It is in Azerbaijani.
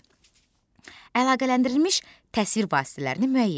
B. Əlaqələndirilmiş təsvir vasitələrini müəyyən et.